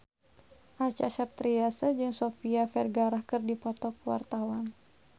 Acha Septriasa jeung Sofia Vergara keur dipoto ku wartawan